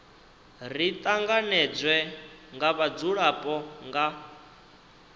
ri tanganedzwe nga vhadzulapo nga